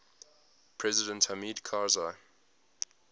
president hamid karzai